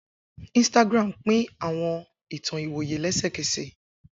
Instagram pín àwọn ìtàn ìwòye lẹ́sẹ̀kẹ̀sẹ̀.